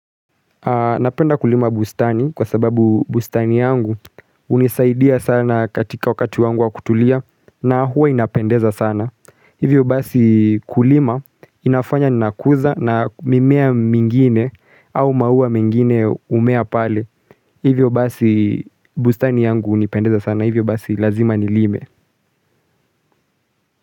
Napenda kulima bustani kwa sababu bustani yangu unisaidia sana katika wakati wangu wa kutulia na huwa inapendeza sana. Hivyo basi kulima inafanya nakuza na mimea mingine au maua mingine umea pale. Hivyo basi bustani yangu unipendeza sana. Hivyo basi lazima nilime.